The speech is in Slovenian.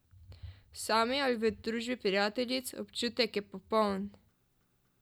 Sami ali v družbi prijateljic, občutek je popoln!